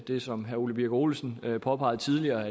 det som herre ole birk olesen påpegede tidligere